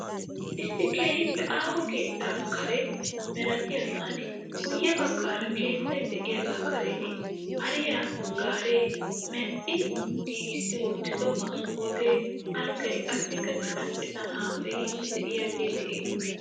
Issi keehiippe aaho keettaa kare malatiyaseninne guye bagaara keettay diyaagaa karen hariyaa garee, medhdhi giisssi wottido maskootee, alggay, qassika cittan cittan haasayiidi de'iyaagee de'ees.